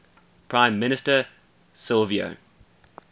prime minister silvio